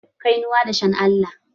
Kainuwan dashen Allah